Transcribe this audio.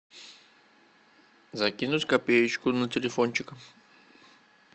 закинуть копеечку на телефончик